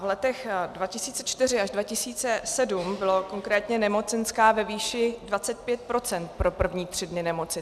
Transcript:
V letech 2004 až 2007 byla konkrétně nemocenská ve výši 25 % pro první tři dny nemoci.